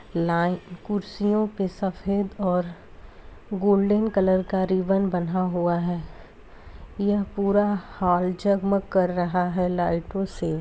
ले कुर्सियों पर सफेद और गोल्डन कलर का रिबन बंधा हुआ है यह पूरा हॉल जगमग कर रहा है लाइटों से।